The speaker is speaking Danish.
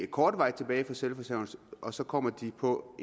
kortvarigt tilbage i selvforsørgelse og så kommer de på